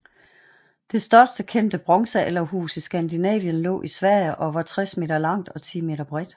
Det største kendte bronzealderhus i Skandinavien lå i Sverige og var 60 m langt og 10 m bredt